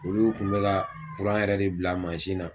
Olu kun bɛ ka yɛrɛ de bila manzin na.